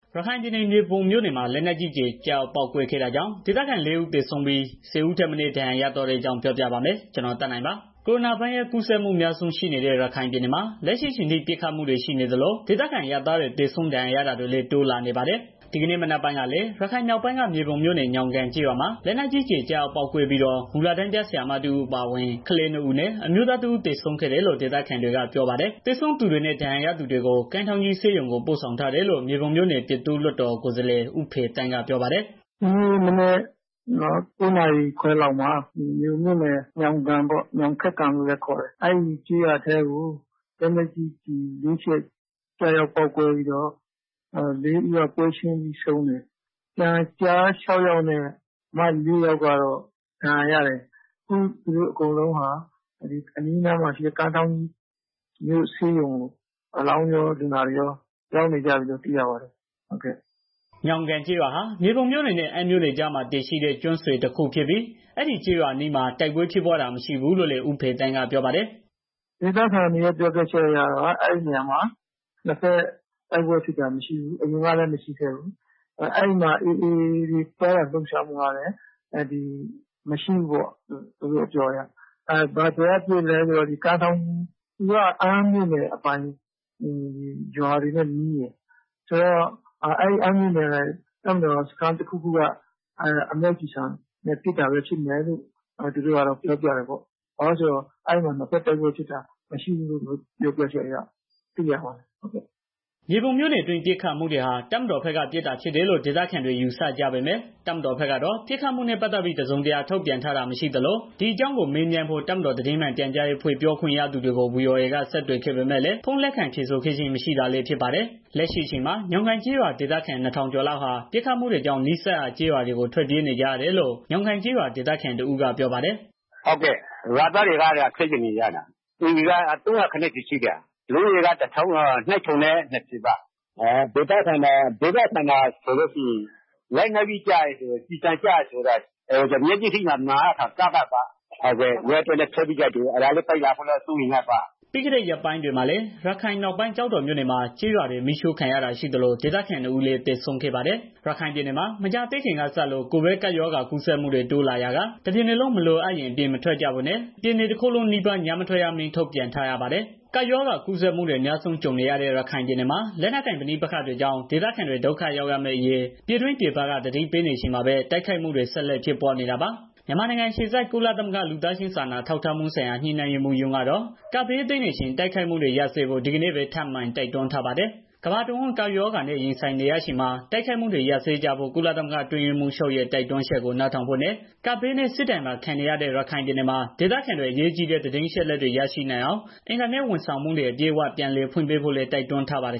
ရခိုင်ပြည်နယ် မြေပုံမြို့နယ်မှာ လက်နက်ကြီး ကျည်ကျရောက်ပေါက်ကွဲခဲ့တာကြောင့် ဒေသခံ ၄ ဦး သေဆုံးပြီး ဆယ်ဦး ထက်မနည်း ဒဏ်ရာရသွားတဲ့ အကြောင်းပြောပြပါမယ်။ ဗွီအိုအေမြန်မာပိုင်းသတင်းထောက် ကိုသက်နိုင်က ရခိုင်ကနေ သတင်းပေးပို့ထားပါတယ်။ ကိုရိုနာဗိုင်းရပ်စ်ကူးစက်မှုအများ ရှိနေတဲ့ ရခိုင်ပြည်နယ်မှာ လက်ရှိအချိန်ထိ ပစ်ခတ်မှုတွေရှိနေသလို ဒေသခံအရပ်သားတွေ သေဆုံးဒဏ်ရာရတာတွေလည်း တိုးလာနေပါတယ်။ ဒီကနေ့မနက်ပိုင်းကလည်း ရခိုင်မြောက်ပိုင်းက မြေပုံမြို့နယ် ညောင်ကန်ကျေးရွာမှာ လက်နက်ကြီး ကျည်ကျရောက်ပေါက်ကွဲပြီးတော့ မူလတန်းက ဆရာမတစ်ဦးအပါအဝင် ကလေးနှစ်ဦးနဲ့ အမျိုးသားတစ်ဦး သေဆုံးခဲ့တယ်လို့ ဒေသခံတွေက ပြောပါတယ်။ သေဆုံးသူတွေနဲ့ ဒဏ်ရာရသူတွေကို ကမ်းထောင်းကြီးဆေးရုံကို ပို့ဆောင်ထားတယ်လို့ မြေပုံမြို့နယ် ပြည်သူ့လွှတ်တော်ကိုယ်စားလှယ် ဦးဖေသန်းက ပြောပါတယ်။ "ဒီနေ့မနက် ၉ နာရီကျော်လောက်ပေါ့နော်။ မြေပုံမြို့နယ် ညောင်ကန်ကျေးရွာကို လက်နက်ကြီး ကျည်ကျရောက်ပေါက်ကွဲပြီးတော့ ၄ ယောက်ကတော့ ပွဲရှင်းပြီးသေတယ်။ ကျန် ကျား ၆ယောက်နဲ့ မလေးယောက်ကတော့ ဒဏ်ရာရသွားတယ်။ သူတို့အကုန်လုံးကို အနီးအနားမှာရှိတဲ့ ကမ်းထောင်းကြီး ဆေးရုံကို အလောင်းတွေရော လူနာတွေရော ရောက်နေကြတယ်လို့ သိရပါတယ်။" ညောင်းကန်ကျေးရွာဟာမြေပုံမြို့နယ်နဲ့ အမ်းမြို့နယ်ကြားမှာ တည်ရှိတဲ့ ကျွန်းဆွယ်ကျေးရွာ တစ်ခု ဖြစ်ပြီး အဲဒီကျေးရွာအနီးမှာ တိုက်ပွဲဖြစ်ပွားတာတွေမရှိဘူးလို့လည်း ဦးဖေသန်းကပြောပါတယ်။ "ဒေသခံတွေ ပြောပြချက်အရကတော့ အဲဒီနေရာမှာ နှစ်ဘက်တိုက်ပွဲဖြစ်တာ မရှိဘူး။ အဲဒီမှာ AA အဖွဲ့ရဲ့ သွားလာလှုပ်ရှားမှုကလည်း မရှိဘူးပေါ့ သူတို့အပြောအရ။ ဘယ်ကပစ်တာလည်းဆိုတော့ သူက အမ်းမြို့နယ်အပိုင် ရွာတွေနဲ့နီးတယ်။ ဆိုတော့ အဲဒီအမ်းမြို့နယ် တပ်မတော်စခန်း တစ်ခုခုက အမြောက်ကျည်ဆံနဲ့ ပစ်တာပဲဖြစ်မယ်လို့ သူတို့ကတော့ ပြောပြတယ်ပေါ့။ ဘာဖြစ်လို့လည်းဆိုတော့ အဲမှာက နှစ်ဘက်တိုက်ပွဲဖြစ်တာ မရှိဘူးလို့ သူတို့ပြောပြတယ်။" မြေပုံမြို့နယ်အတွင်း ပစ်ခတ်မှုတွေဟာ တပ်မတော်ဘက်က ပစ်တာဖြစ်တယ်လို့ ဒေသခံတွေယူ ဆကြပေမဲ့ တပ်မတော်ဘက်ကတော့ ပစ်ခတ်မှုနဲ့ ပတ်သတ်ပြီး တစ်စုံတစ်ရာထုတ်ပြန်ထားတာ မရှိသလို ဒီအကြောင်းမေးမြန်းဖို့ တပ်မတော်သတင်းမှန်ပြန်ကြားရေးအဖွဲ့ပြောခွင့်ရသူတွေကို ဗွီအိုအေက ဆက်သွယ်ခဲ့ပေမဲ့လည်း ဖုန်းလက်ခံပြေဆိုခဲ့ခြင်း မရှိတာလည်းဖြစ်ပါတယ်။ လက်ရှိအချိန်မှာ ညောင်းကန်ကျေးရွာဒေသခံ ၂,၀၀၀ ကျော်လောက်ဟာ ပစ်မှုကြောင့် နီးစပ်ရွာကျေး ရွာတွေကို ထွက်ပြေးနေကြရတယ်လို့ ညောင်းကန်ကျေးရွာ ဒေသခံတစ်ဦး ကပြောပါတယ်။ "ရွာသားတွေ အကုန်လုံးက ထွက်ပြေးနေကြတယ်။ အိမ်ခြေ ၃၀၀ ကျော်ရှိတယ်။ လူဦးရေကတော့ ၂,၀၀၀ ကျော်ရှိတယ်။ ဒေသခံတွေကတော့ လက်နက်ကြီးကျပြီး သေဆုံးတာတွေ မျက်လုံးရှေ့မှာ မြင်ရတော့ ကြောက်လန့်ပြီးထွက်ပြေးကြတာပေါ့။" ပြီးခဲ့ရက်ပိုင်းတွေမှာလည်း ရခိုင်မြောက်ပိုင်းကျောက်တော်မြို့နယ်မှာ ကျေးရွာတွေမီးရှို့ခံရတာရှိသလို ဒေသခံနှစ်ဦးလည်း သေဆုံးခဲ့ပါတယ်။ ရခိုင်ပြည်နယ်မှာ မကြာသေးခင်ကစလို့ ကိုဗစ်ကပ်ရောဂါ ကူးစက်မှုတွေ တိုးလာရာက ပြည်နယ်တစ်ခုလုံး မလိုအပ်ရင် အပြင်မထွက်ကြဖို့နဲ့ ပြည်နယ်တစ်ခုလုံးနီးပါး ညမထွက်ရ အမိန့်ထုတ်ပြန်ထားရပါတယ်။ ကပ်ရောဂါကူးစက်မှုတွေ အများဆုံးကြုံနေရတဲ့ ရခိုင်ပြည်နယ်မှာ လက်နက်ကိုင် ပဋိပက္ခတွေကြောင့် ဒေသခံတွေ ဒုက္ခရောက်မယ့်အရေး ပြည်တွင်းပြည်ပက သတိပေးနေချိန်မှာပဲ တိုက်ခိုက်မှုတွေ ဆက်လက်ဖြစ်ပွားနေတာပါ။ မြန်မာနိုင်ငံ အခြေစိုက် ကုလသမဂ္ဂ လူသားချင်းစာနာထောက်ထားမှုဆိုင်ရာ ညှိနှိုင်းရေးမှူးရုံးကတော့ ကပ်ဘေးသင့်နေချိန် တိုက်ခိုက်မှုတွေ ရပ်စဲဖို့ ဒီကနေ့ပဲ ထပ်မံတိုက်တွန်းထားပါတယ်။ ကမ္ဘာတဝန်း ကပ်ရောဂါနဲ့ ရင်ဆိုင်နေရချိန်မှာ တိုက်ခိုက်မှုတွေ ရပ်စဲကြဖို့ ကုလသမဂ္ဂ အတွင်းရေးမှူးချုပ်ရဲ့ တိုက်တွန်းချက်ကို နားထောင်ဖို့နဲ့ ကပ်ရောဂါရော စစ်ဘေးဒဏ်ပါခံနေရတဲ့ ရခိုင်ပြည်နယ်မှာ ဒေသခံတွေ အရေးကြီးတဲ့ သတင်းအချက်အလက်တွေ ရရှိနိုင်အောင် အင်တာနက်ဝန်ဆောင်မှုတွေ အပြည့်အ၀ ပြန်ဖွင့်ပေးဖို့လည်း တိုက်တွန်းထားပါတယ်